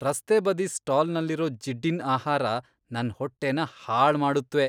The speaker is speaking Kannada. ರಸ್ತೆಬದಿ ಸ್ಟಾಲ್ನಲ್ಲಿರೋ ಜಿಡ್ಡಿನ್ ಆಹಾರ ನನ್ ಹೊಟ್ಟೆನ ಹಾಳ್ ಮಾಡುತ್ವೆ.